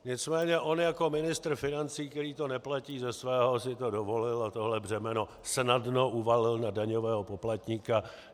Nicméně on jako ministr financí, který to neplatí ze svého, si to dovolil a tohle břemeno snadno uvalil na daňového poplatníka.